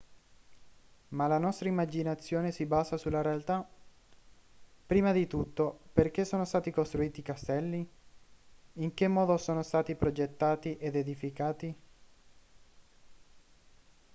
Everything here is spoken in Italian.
ma la nostra immaginazione si basa sulla realtà prima di tutto perché sono stati costruiti i castelli in che modo sono stati progettati ed edificati